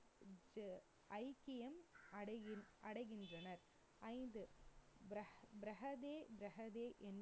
ஐக்கியம் அடைகின்~ அடைகின்றனர். ஐந்து